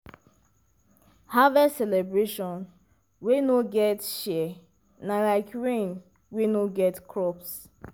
harvest celebration wey no get share na like rain wey no get crops.